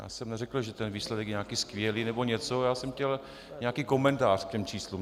Já jsem neřekl, že ten výsledek je nějaký skvělý nebo něco, já jsem chtěl nějaký komentář k těm číslům.